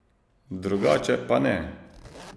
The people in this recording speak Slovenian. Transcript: Drugače pa ne.